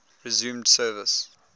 resumed service